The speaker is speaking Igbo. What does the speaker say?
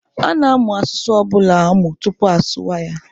A na-amụ asụsụ ọ bụla amụ tupu asụwa ya.